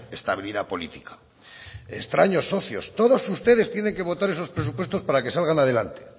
estabilidad política extraños socios todos ustedes tienen que votar esos presupuestos para que salgan adelante